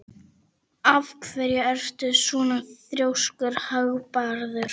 Af hverju ertu svona þrjóskur, Hagbarður?